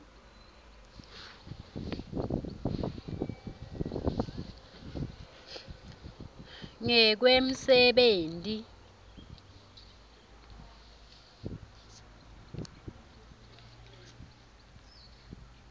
ngekwemsebenti